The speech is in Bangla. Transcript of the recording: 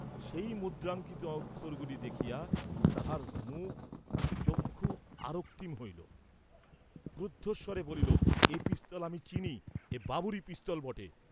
সেই মুদ্রাঙ্কিত অক্ষরগুলি দেখিয়া তাহার মুখ চক্ষু আরক্তিম হইল, ক্রুদ্ধস্বরে বলিল, এ পিস্তল আমি চিনি, এ বাবুরই পিস্তল বটে।